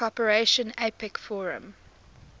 cooperation apec forum